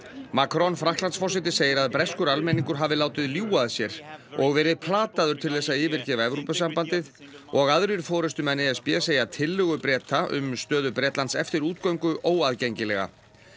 Macron Frakklandsforseti segir að breskur almenningur hafi látið ljúga að sér og verið plataður til þess að yfirgefa Evrópusambandið og aðrir forystumenn e s b segja tillögu Breta um stöðu Bretlands eftir útgöngu óaðgengilega